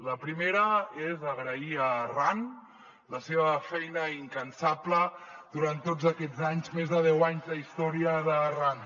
la primera és agrair a arran la seva feina incansable durant tots aquests anys més de deu anys d’història d’arran